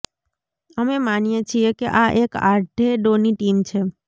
અમે માનીએ છીએ કે આ એક આધેડોની ટીમ છે